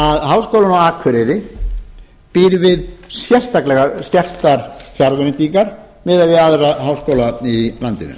að háskólinn á akureyri býr við sérstaklega skertar fjárveitingar miðað við aðra háskóla í landinu